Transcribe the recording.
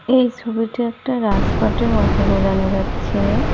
এই সবিটি একটা মতো বোঝানো যাচ্ছে।